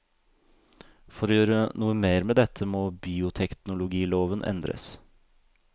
For å gjøre noe mer med dette må bioteknologiloven endres.